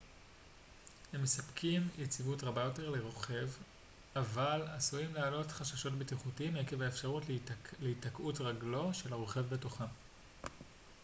הם מספקים יציבות רבה יותר לרוכב אבל עשויים להעלות חששות בטיחותיים עקב האפשרות להיתקעות רגלו של הרוכב בתוכם